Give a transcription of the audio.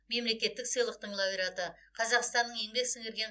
мемлекеттік сыйлықтың лауреаты қазақстанның еңбек сіңірген